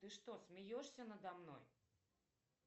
ты что смеешься надо мной